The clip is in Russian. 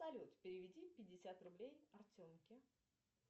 салют переведи пятьдесят рублей артемке